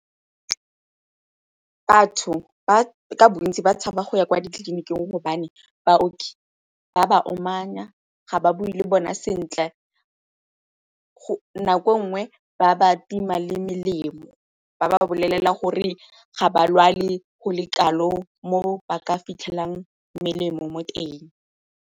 Batho ka bontsi ba tshaba go ya kwa ditleliniking gobane baoki ba ba omanya, ga ba bue le bona sentle, nako e nngwe ba ba tima le melemo ba ba bolelela gore ga ba lwale go le kalo mo ba ka fitlhelang melemo mo teng.